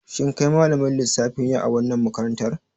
Shin kai malamin lissafi ne a wannan makarantar?